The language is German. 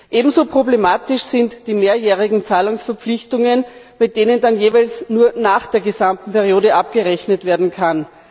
Ebenso problematisch sind die mehrjährigen Zahlungsverpflichtungen, bei denen dann jeweils nur nach der gesamten Periode abgerechnet werden kann.